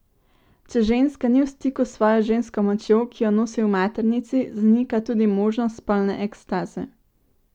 Če ženska ni v stiku s svojo žensko močjo, ki jo nosi v maternici, zanika tudi možnost spolne ekstaze.